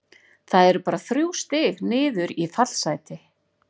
Það eru bara þrjú stig niður í fallsæti.